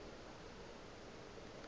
wo mofsa o thoma go